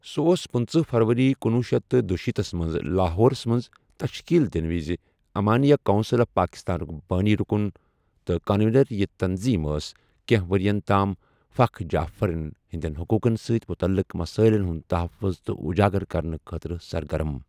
سہ اوس پٕنژٕہ فَرؤری کنۄہ شیتھ تہٕ دُشیٖتھس مَنٛز لاہورس مَنٛز تشکیل دنہٕ وز امانیہ کونسل آف پاکستانک بانی رکن تہٕ کنوینر یہِ تنظیم ٲس کینٛہہ ورین تام فخ جعفریہن ہنٛدین حقوقن سۭتۍ متعلق مسٲیلن ہنٛد تحفظ تہٕ اجاگر کرنہٕ خٲطرٕ سرگرم۔